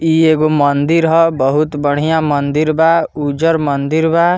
इ एगो मंदिर हो बहुत बढ़िया मंदिर बा उजर मंदिर बा।